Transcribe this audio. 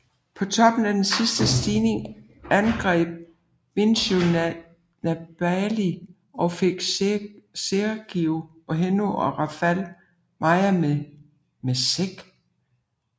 På toppen af den sidste stigning angreb Vincenzo Nibali og fik Sergio Henao og Rafał Majka med seg